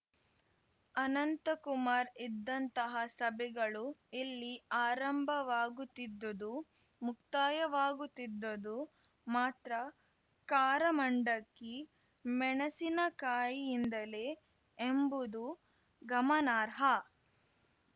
ಅನಂತಕುಮಾರ್ ಇದ್ದಂತಹ ಸಭೆಗಳು ಇಲ್ಲಿ ಆರಂಭವಾಗುತ್ತಿದ್ದುದು ಮುಕ್ತಾಯವಾಗುತ್ತಿದ್ದುದು ಮಾತ್ರ ಕಾರ ಮಂಡಕ್ಕಿ ಮೆಣಸಿನಕಾಯಿಯಿಂದಲೇ ಎಂಬುದು ಗಮನಾರ್ಹ